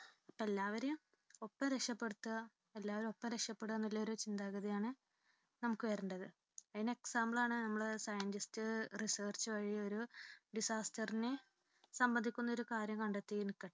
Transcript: എല്ലാവരെയും ഒപ്പം രക്ഷപ്പെടുത്തുക എല്ലാവരും ഒപ്പം രക്ഷപ്പെടുക എന്നുള്ള ഒരു ചിന്താഗതിയാണ് നമുക്ക് വരേണ്ടത്. അതിനൊരു example ആണ് നമ്മുടെ Scientistresearch വഴി ഒരു disaster നെ സംബന്ധിക്കുന്ന ഒരു കാര്യം കണ്ടെത്തിയിരിക്കുന്നത്